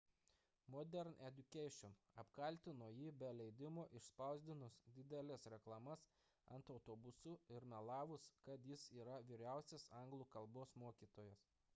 modern education apkaltino jį be leidimo išspausdinus dideles reklamas ant autobusų ir melavus kad jis yra vyriausiasis anglų kalbos mokytojas